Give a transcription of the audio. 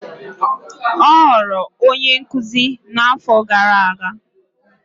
Ọ ghọrọ onye nkuzi n'afọ gara aga.